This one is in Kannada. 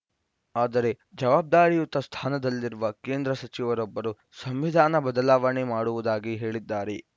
ಆದರೆ ಜವಾಬ್ದಾರಿಯುತ ಸ್ಥಾನದಲ್ಲಿರುವ ಕೇಂದ್ರ ಸಚಿವರೊಬ್ಬರು ಸಂವಿಧಾನ ಬದಲಾವಣೆ ಮಾಡುವುದಾಗಿ ಹೇಳಿದ್ದಾರೆ